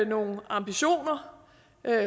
nogle ambitioner